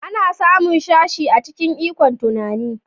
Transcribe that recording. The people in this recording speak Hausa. Ana samun sashe a cikin ikon tunani